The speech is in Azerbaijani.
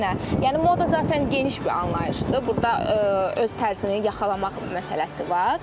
Yəni moda zatən geniş bir anlayışdır, burda öz tərzini yaxalamaq məsələsi var.